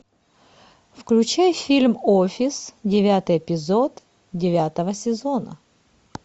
включай фильм офис девятый эпизод девятого сезона